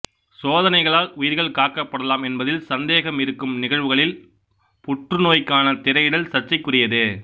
சோதனைகளால் உயிர்கள் காக்கப்படலாம் என்பதில் சந்தேகம் இருக்கும் நிகழ்வுகளில் புற்று நோய்க்கான திரையிடல் சர்ச்சைக்குரியதே